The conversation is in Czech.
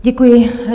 Děkuji.